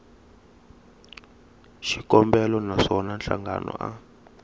xikombelo na swona nhlangano a